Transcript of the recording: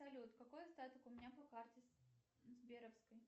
салют какой остаток у меня по карте сберовской